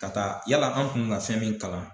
Ka taa, yala an kun bi na fɛn min kalan.